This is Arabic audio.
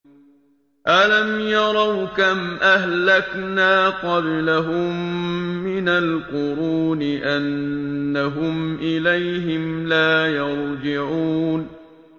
أَلَمْ يَرَوْا كَمْ أَهْلَكْنَا قَبْلَهُم مِّنَ الْقُرُونِ أَنَّهُمْ إِلَيْهِمْ لَا يَرْجِعُونَ